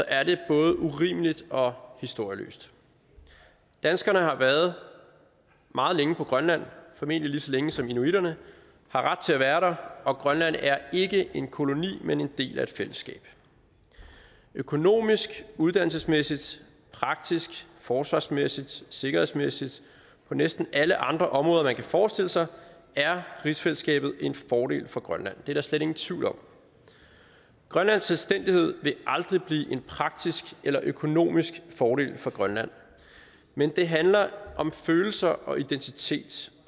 er det både urimeligt og historieløst danskerne har været meget længe på grønland formentlig lige så længe som inuitterne har ret til at være der og grønland er ikke en koloni men en del af et fællesskab økonomisk uddannelsesmæssigt praktisk forsvarsmæssigt sikkerhedsmæssigt og på næsten alle andre områder man kan forestille sig er rigsfællesskabet en fordel for grønland det er der slet ingen tvivl om grønlands selvstændighed vil aldrig blive en praktisk eller økonomisk fordel for grønland men det handler om følelser og identitet